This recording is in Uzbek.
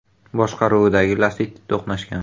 boshqaruvidagi Lacetti to‘qnashgan.